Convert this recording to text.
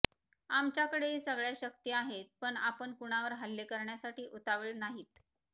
आमच्याकडेही सगळ्या शक्ती आहेत पण आपण कुणावर हल्ले करण्यासाठी उतावीळ नाहीत